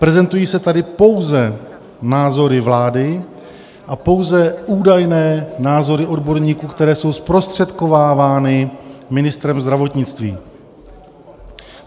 Prezentují se tady pouze názory vlády a pouze údajné názory odborníků, které jsou zprostředkovávány ministrem zdravotnictví.